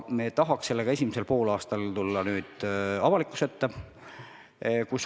Me tahaks tulla sellega esimesel poolaastal avalikkuse ette.